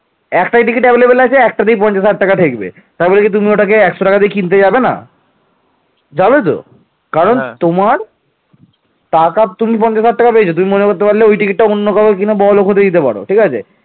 ধর্মপাল সেনাপতি লাউসেনের নেতৃত্বে রাষ্ট্রকূট রাজাকে পরাজিত করে উড়িষ্যা পুনর্দখল করতে সক্ষম হন